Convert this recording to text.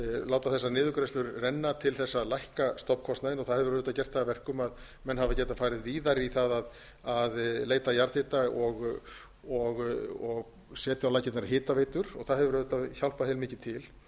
láta þessar niðurgreiðslur renna til þess að lækka stofnkostnaðinn það hefur auðvitað gert það að verkum að menn hafa getað farið víðar í það að leita jarðhita og sett á laggirnar hitaveitur það hefur auðvitað hjálpað heilmikið til